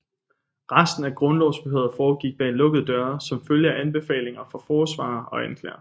Resten af grundlovsforhøret foregik bag lukkede døre som følge af anbefalinger fra forsvarer og anklager